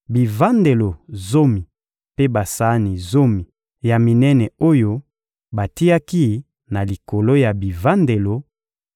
bivandelo zomi mpe basani zomi ya minene oyo batiaki na likolo ya bivandelo,